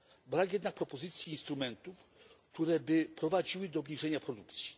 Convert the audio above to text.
Brak jednak propozycji instrumentów, które by prowadziły do obniżenia produkcji.